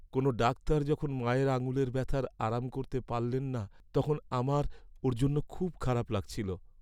কোনও ডাক্তার যখন মায়ের আঙুলের ব্যথার আরাম করতে পারলেন না, তখন আমার ওঁর জন্য খুব খারাপ লাগছিল।